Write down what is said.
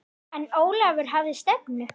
En Ólafur hafði stefnu.